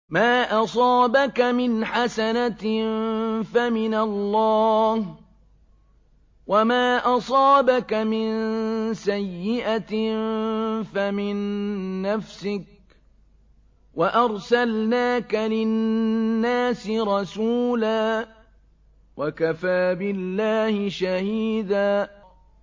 مَّا أَصَابَكَ مِنْ حَسَنَةٍ فَمِنَ اللَّهِ ۖ وَمَا أَصَابَكَ مِن سَيِّئَةٍ فَمِن نَّفْسِكَ ۚ وَأَرْسَلْنَاكَ لِلنَّاسِ رَسُولًا ۚ وَكَفَىٰ بِاللَّهِ شَهِيدًا